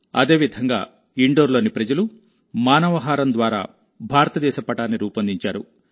అదేవిధంగాఇండోర్లోని ప్రజలు మానవహారం ద్వారా భారతదేశ పటాన్ని రూపొందించారు